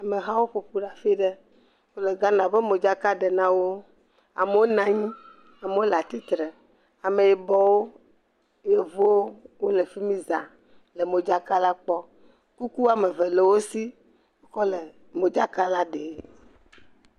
Amehawo ƒo ƒu ɖe afi ɖe. Wole Ghana ƒe modzaka ɖe na wo. Amewo na nyi, amewo le atsitre. Ameyibɔwo, Yevowo, wole fi mi zã le modzakala kpɔm. Kuku woame ve le wo si kɔ le modzakala ɖem.